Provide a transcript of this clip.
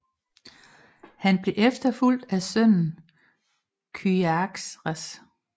Han blev efterfulgt af sønnen Kyaxares